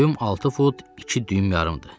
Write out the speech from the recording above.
Boyum 6 fut 2 düym yarımdır.